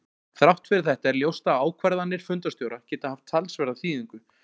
Þrátt fyrir þetta er ljóst að ákvarðanir fundarstjóra geta haft talsverða þýðingu.